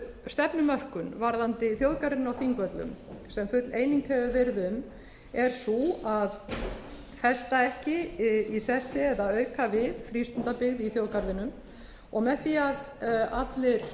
stefnumörkun varðandi þjóðgarðinn á þingvöllum sem full eining hefur verið um er sú að festa ekki í þessu eða auka við frístundabyggð í þjóðgarðinum og með var að allir